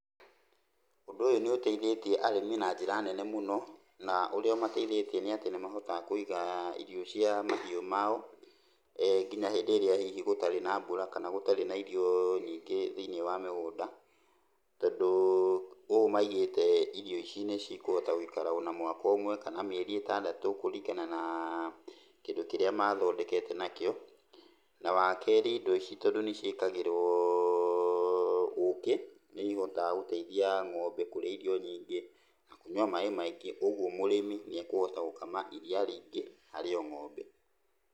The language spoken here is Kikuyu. Ũndũ ũyũ nĩ ũteithĩtie arĩmi na njĩra nene mũno, na ũrĩa ũmateithĩtie nĩ atĩ nĩmahotaga kũiga irio cia mahiũ mao nginya hĩndĩ ĩrĩa hihi gũtarĩ na mbura kana gũtarĩ na irio nyingĩ thĩiniĩ wa mĩgũnda, tondũ ũũ maigĩte irio ici nĩcikũhota gũikara ona mwaka ũmwe kana mĩeri ĩtandatũ kũringana na kĩndũ kĩrĩa mathondekete nakĩo. Na wakerĩ indo ici tondũ nĩciĩkagĩrwo ũkĩ nĩ ihotaga gũteithia ng'ombe kũrĩa irio nyingĩ na kũnyua maaĩ maingĩ, ũguo mũrĩmi nĩ ekũhota gũkama iria rĩingĩ harĩ o ng'ombe.